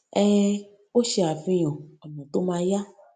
um ó ṣe àfihàn ònà tó ma yá